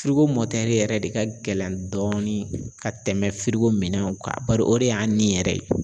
mɔtɛri yɛrɛ de ka gɛlɛn dɔɔni ka tɛmɛ firiko minɛnw kan bari o de y'an ni yɛrɛ ye.